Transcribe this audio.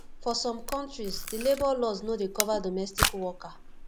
for some countries di labour laws no dey cover domestic worker